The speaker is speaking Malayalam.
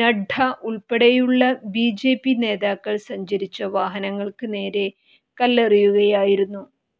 നഡ്ഡ ഉൾപ്പെടെയുള്ള ബിജെപി നേതാക്കൾ സഞ്ചരിച്ച വാഹനങ്ങൾക്ക് നേരെ കല്ലെറിയുകയായിരുന്നു